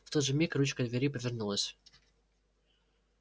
в тот же миг ручка двери повернулась